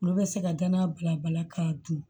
Olu bɛ se ka danaya bila bala k'a dun